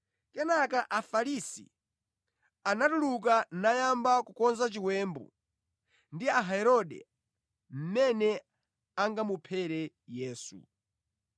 Kenaka Afarisi anatuluka nayamba kukonza chiwembu ndi Aherode mmene angamuphere Yesu.